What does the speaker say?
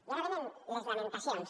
i ara venen les lamentacions